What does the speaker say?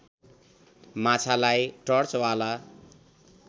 माछालाई टर्चवाला